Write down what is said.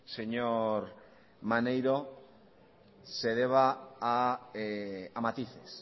señor maneiro se deba a matices